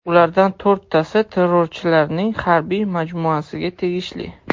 Ulardan to‘rttasi terrorchilarning harbiy majmuasiga tegishli.